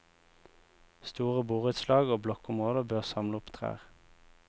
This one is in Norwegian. Store borettslag og blokkområder bør samle opp trær.